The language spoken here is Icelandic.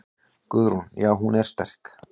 Guðrún: Já er hún sterk?